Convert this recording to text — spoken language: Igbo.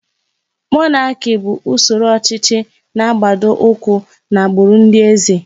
Mọnaki bụ usoro ọchịchị na-agbado ụkwụ n'agbụrụ ndị eze.